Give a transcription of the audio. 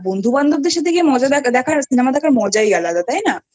আর বন্ধুবান্ধবদের সাথে Cinema দেখার মজাই আলাদা তাই না?